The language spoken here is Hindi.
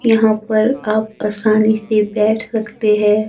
यहां पर आप आसानी से बैठ सकते हैं।